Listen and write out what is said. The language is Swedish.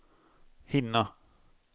hinna